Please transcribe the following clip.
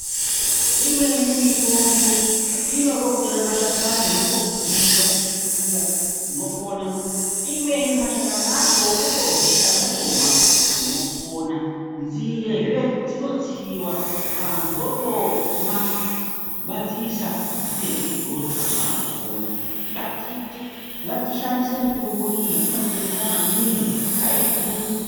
Imweni mitombo inode kutore mashakani mwotodziisa mwofukira munopona. Imweni mashakani achoo mwotodziisa mwotopona. Nzindezve dzinotsiwa vantu votomwa vadziisa nzindedzo idzodzo vantu vanopona. Ngatishandise mitombo iyi inotidetsera maningi aidhuri.